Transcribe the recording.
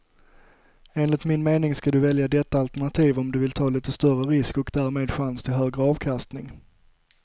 Enligt min mening ska du välja detta alternativ om du vill ta lite större risk och därmed chans till högre avkastning.